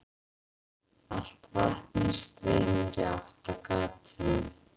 Allt vatnið streymir í átt að gatinu.